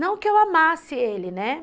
Não que eu amasse ele, né?